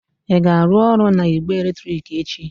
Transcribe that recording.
Ị ga-arụ ọrụ na igbe eletrik echi?